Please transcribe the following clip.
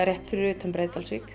rétt fyrir utan Breiðdalsvík